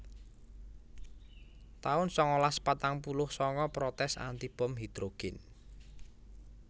taun sangalas patang puluh sanga Protes anti bom hidhrogèn